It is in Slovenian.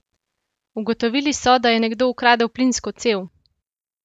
Ugotovili so, da je nekdo ukradel plinsko cev!